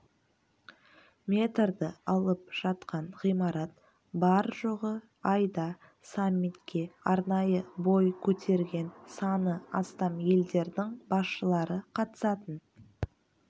метрді алып жатқан ғимарат бар-жоғы айда саммитке арнайы бой көтерген саны астам елдердің басшылары қатысатын